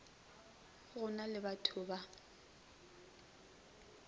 go na le bato ba